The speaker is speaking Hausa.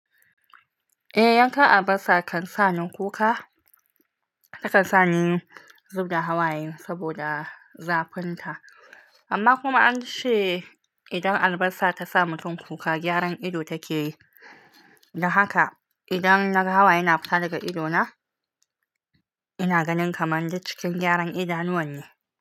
Eh, yanka albasa kan sa ni kuka. Yakan sa ni zub da hawaye saboda zafinta. Amma kuma an ce idan albasa ta sa mutum kuka, gyaran ido take yi. Da haka idan na hawayena fita daga idona, ina ganin kamar dai cikin gyaran ido nawa ne.